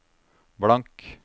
blank